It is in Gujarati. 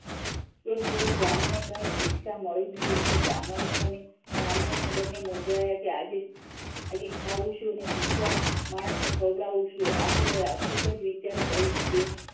એક દિવસ બ્રાહ્મણને કઈ દીક્ષા મળી નહિ એટલે બ્રાહ્મણ અને બ્રાહ્મણી ને બંને મૂંજાયા કે ખાવું શું અને ભૂખ્યા માણસને ખવડાવવું શું આખરે ખુબજ વિચાર કરીને તે